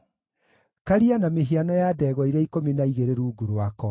Karia na mĩhiano ya ndegwa iria ikũmi na igĩrĩ rungu rwako;